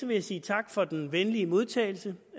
jeg sige tak for den venlige modtagelse